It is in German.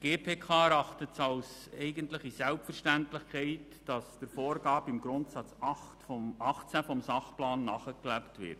Die GPK erachtet es als eine Selbstverständlichkeit, dass der Vorgabe im Grundsatz 18 des Sachplans nachgelebt wird.